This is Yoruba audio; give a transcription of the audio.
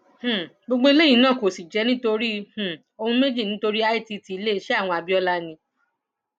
um gbogbo eléyìí náà kò sì jẹ nítorí um ohun méjì nítorí itt iléeṣẹ àwọn abiola ni